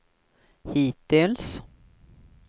hittills